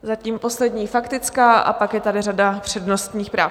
Zatím poslední faktická a pak je tady řada přednostních práv.